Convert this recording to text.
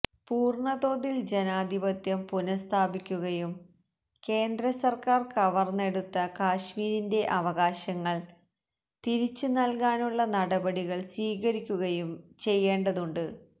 പൂര്ണ തോതില് ജനാധിപത്യം പുനഃസ്ഥാപിക്കുകയും കേന്ദ്ര സര്ക്കാര് കവര്ന്നെടുത്ത കശ്മീരിന്റെ അവകാശങ്ങള് തിരിച്ചു നല്കാനുള്ള നടപടികള് സ്വീകരിക്കുകയും ചെയ്യേണ്ടതുണ്ട്